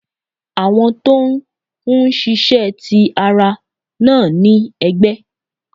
Àwọn tó n ṣíṣe ti ára, naa ni ẹgbẹ